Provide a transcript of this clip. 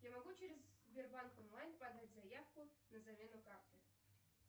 я могу через сбербанк онлайн подать заявку на замену карты